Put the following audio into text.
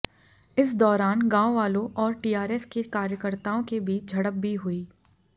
इस दौरान गांव वालों और टीआरएस के कार्यकर्ताओं के बीच झड़प भी हुई